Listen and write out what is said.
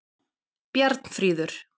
Bjarnfríður